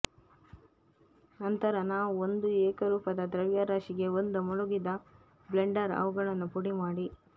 ನಂತರ ನಾವು ಒಂದು ಏಕರೂಪದ ದ್ರವ್ಯರಾಶಿಗೆ ಒಂದು ಮುಳುಗಿದ ಬ್ಲೆಂಡರ್ ಅವುಗಳನ್ನು ಪುಡಿಮಾಡಿ